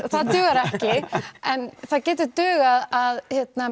það dugar ekki en það getur dugað að